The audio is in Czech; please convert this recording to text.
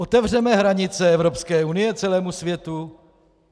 Otevřeme hranice Evropské unie celému světu?